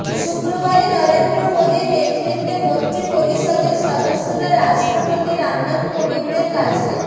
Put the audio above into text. শুক্রবারই নরেন্দ্র মোদীর নেতৃত্বে মন্ত্রী পরিষদের সদস্যরা রাষ্ট্রপতি রামনাথ কোবিন্দের কাছে